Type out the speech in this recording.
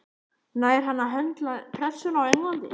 Nær hann að höndla pressuna á Englandi?